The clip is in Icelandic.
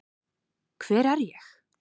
Hver er ég?